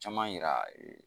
Caman yira